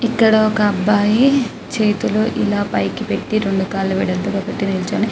ఇక్కడ ఒక అబ్బాయి చేతులు ఇలా పైకి పెట్టి రెండు కళ్ళు వెడల్పుగ పెట్టి నిలుచొని --